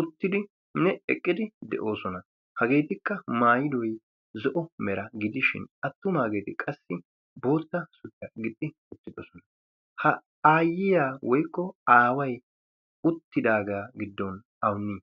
uttidinne eqqidi de'oosona hageetikka maayidoy zo'o mera gidishin attumaageeti qassi bootta suriyaa gixxi uttidosona ha aayyiya woykko aaway uttidaagaa giddon awunne